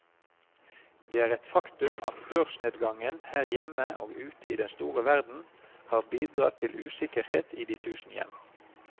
Det er et faktum at børsnedgangen her hjemme og ute i den store verden har bidratt til usikkerhet i de tusen hjem.